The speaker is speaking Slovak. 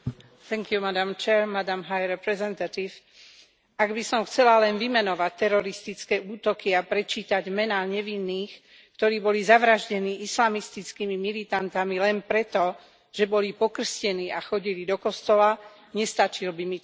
Vážená pani predsedajúca, ak by som chcela len vymenovať teroristické útoky a prečítať mená nevinných, ktorí boli zavraždení islamistickými militantami len preto, že boli pokrstení a chodili do kostola, nestačil by mi čas.